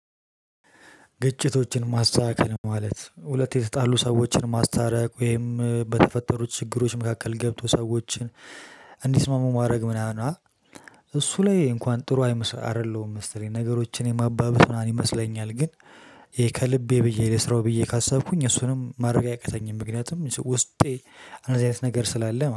ግጭቶችን ማስተካከል ማለት ሁለት የተጣሉ ሰዎችን ማስተረቅ ወይም በተፈጠሩት ችግሮች መካከል ገብቶ ሰዎችን እንዲስማሙ ማድረግ ምናምን አ? እሱ ላይ እንኳን ጥሩ አይምስ አይደለሁም ነገሮችን የማባብስ ይመስለኛል። ግን ከልቤ ብዬ ልስራው ብዬ ካሰብኩኝ እሱንም ማድረግ አይቀተኝም። ምክንያቱም ውስጤ እንደዚ አይነት ነገር ስላለ